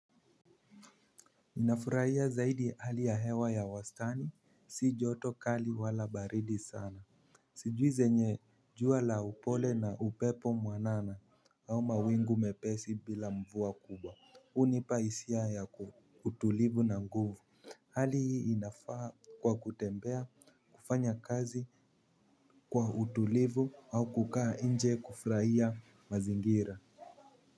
Ninafurahia zaidi hali ya hewa ya wastani si joto kali wala baridi sana. Sijui zenye jua la upole na upepo mwanana au mawingu mepesi bila mvua kubwa hunipa hisia ya utulivu na nguvu. Hali hii inafaa kwa kutembea kufanya kazi kwa utulivu au kukaa inje kufuraia mazingira.